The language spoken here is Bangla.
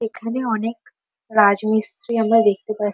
এখানে অনেক রাজমিস্ত্রি আমরা দেখতে পা--